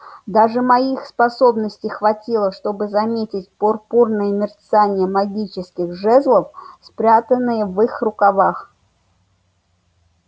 даже моих способностей хватило чтобы заметить пурпурное мерцание магических жезлов спрятанных в их рукавах